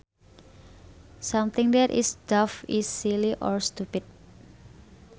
Something that is daft is silly or stupid